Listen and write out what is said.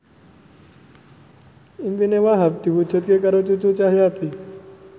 impine Wahhab diwujudke karo Cucu Cahyati